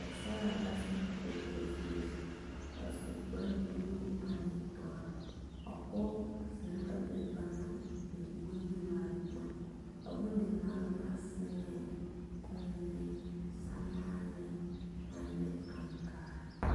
Pɛgesaraa la zeŋ o dakogi zeɛ zu a su kpare buluu ane dɔre a pɔge zeŋ la be ba naŋ biŋ bondimaale boma a bondimaale boma seŋɛɛ la kommie samaane ane aŋkaare.